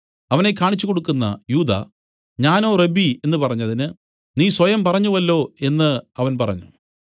അവനെ കാണിച്ചു കൊടുക്കുന്ന യൂദാ ഞാനോ റബ്ബീ എന്നു പറഞ്ഞതിന് നീ സ്വയം പറഞ്ഞുവല്ലോ എന്ന് അവൻ പറഞ്ഞു